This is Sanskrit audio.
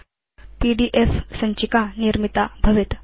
पीडीएफ सञ्चिका निर्मिता भवेत्